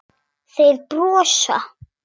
Þeir brosa.